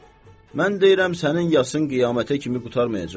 mən deyirəm sənin yasın qiyamətə kimi qurtarmayacaq.